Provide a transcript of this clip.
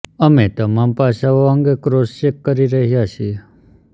અમે તમામ પાસાઓ અંગે ક્રોસ ચેક કરી રહ્યાં છીએ